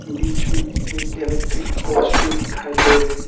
बीच में electric pole भी दिखाई दे रही है।